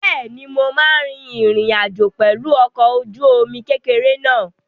Bẹ́ẹ̀ni, mo máa rin ìrìn àjò pẹ̀lú ọkọ̀-ojúomi kékeré náà